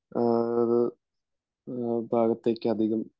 ആ അത് ആ ഭാഗത്തേക്ക് അധികം